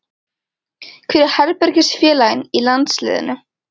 Hver er herbergisfélaginn í landsliðinu?